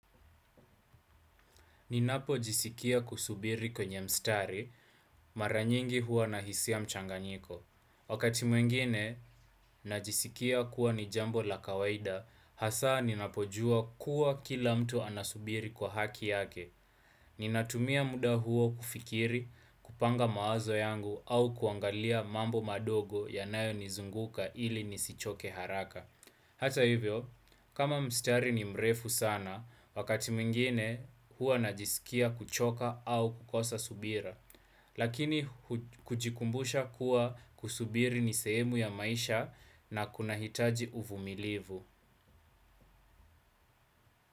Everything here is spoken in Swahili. Ninapojisikia kusubiri kwenye mstari, mara nyingi huwa nahisia mchanganyiko. Wakati mwingine najisikia kuwa ni jambo la kawaida, hasaa ninapojua kuwa kila mtu anasubiri kwa haki yake. Ninatumia muda huo kufikiri, kupanga mawazo yangu au kuangalia mambo madogo yanayonizunguka ili nisichoke haraka. Hata hivyo, kama mstari ni mrefu sana, wakati mwingine huwa najisikia kuchoka au kukosa subira, lakini kujikumbusha kuwa kusubiri ni sehemu ya maisha na kunahitaji uvumilivu.